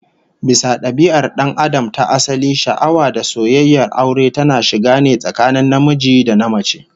Bisa dabia'ar dan Adam ta asali, sha'awa da soyayyar aure tana shiga ne tsakanin namiji da namace